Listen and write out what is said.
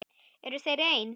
Eru þeir eins?